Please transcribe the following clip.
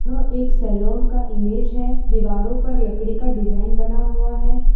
यह एक सैलून का इमेज है दीवारों पर लकड़ी का डिजाइन बना हुआ है।